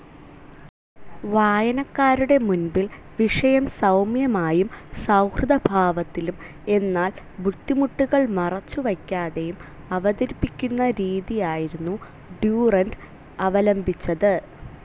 വായനക്കാരുടെ മുൻപിൽ വിഷയം സൗമ്യമായും സൗഹൃദഭാവത്തിലും എന്നാൽ ബുദ്ധിമുട്ടുകൾ മറച്ചുവയ്ക്കാതെയും അവതരിപ്പിക്കുന്ന രീതിയായിരുന്നു ഡ്യുറൻ്റ് അവലംബിച്ചത്.